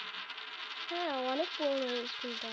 হ্যাঁ অনেক পুরোনো এই School টা